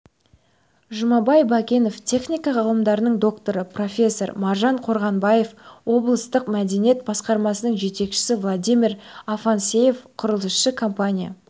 жұмабай бәкенов техника ғылымдарының докторы профессор маржан қорғанбаева облыстық мәдениет басқармасының жетекшісі владимир афанасьев құрылысшы компания